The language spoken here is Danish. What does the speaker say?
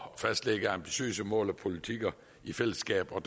fastlægge ambitiøse mål og politikker i fællesskab og